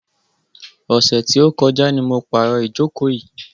Ọ̀sẹ̀ tí ó kọjá ni mo pàrò ìjókò yìí.